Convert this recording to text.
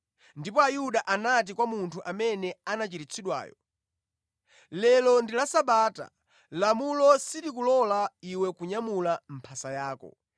Ndipo Ayuda anati kwa munthu amene anachiritsidwayo, “Lero ndi la Sabata; lamulo silikulola iwe kunyamula mphasa yako.”